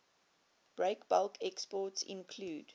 breakbulk exports include